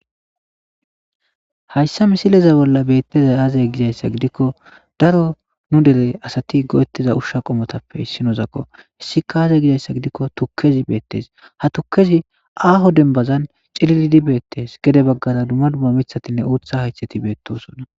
Haysa misileza bolla betizay aze gizarysa gidikon daro nu dere asat go7etiza usha qomotappe issinozako hesika aze gikon tukez betesi. Ha tukezi aho dembazan cilild betes gede bagara dumma dumma mithatinne uutha haytheti betosona